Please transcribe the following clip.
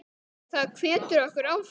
Það hvetur okkur áfram.